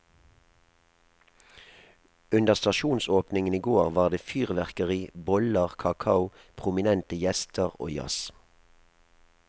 Under stasjonsåpningen i går var det fyrverkeri, boller, kakao, prominente gjester og jazz.